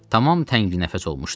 Tamam təngnəfəs olmuşdum.